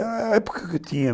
É a época que eu tinha